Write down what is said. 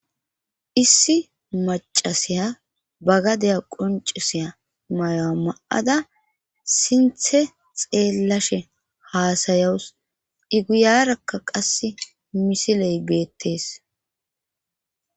Issi macasiya bagadeya qoncisiya mayo7a ma7ada sinthe xeellashe haasayawus iguyarakka qasse misiley geettes